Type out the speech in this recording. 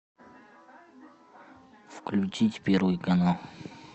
включить первый канал